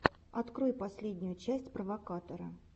открой последнюю часть провокатора